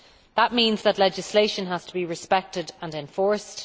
That means that legislation has to be respected and enforced.